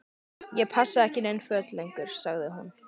Ég passa ekki í nein föt lengur- sagði hún.